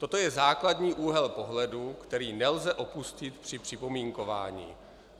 Toto je základní úhel pohledu, který nelze opustit při připomínkování.